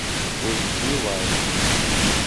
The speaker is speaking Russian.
эйчди лайф